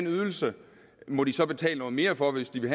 ydelse må de så betale noget mere for hvis de vil